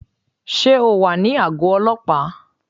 Sé o wà ní àgó ọlọ́pàá?